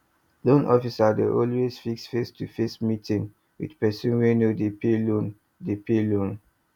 loan officer dey always fix face to face meeting with person wey no dey pay loan dey pay loan